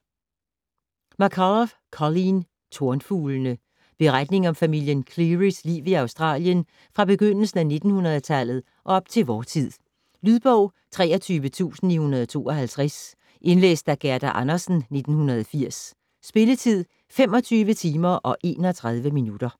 McCullough, Colleen: Tornfuglene Beretning om familien Cleary's liv i Australien fra begyndelsen af 1900-tallet og op til vor tid. Lydbog 23952 Indlæst af Gerda Andersen, 1980. Spilletid: 25 timer, 31 minutter.